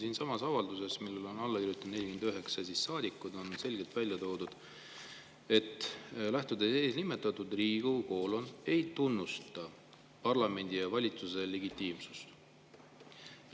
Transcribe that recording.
Siinsamas avalduses, millele on alla kirjutanud 49 saadikut, on selgelt välja toodud: lähtudes eelnimetatust, Riigikogu ei tunnusta Gruusia parlamendi ja valitsuse legitiimsust.